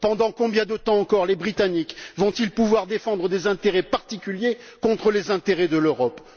Pendant combien de temps encore les Britanniques vont ils pouvoir défendre des intérêts particuliers contre les intérêts de l'Europe?